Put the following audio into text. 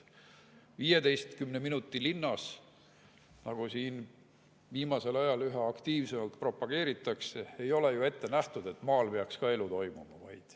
15 minuti linnas, nagu siin viimasel ajal üha aktiivsemalt propageeritakse, ei ole ju ette nähtud, et maal peaks elu toimuma.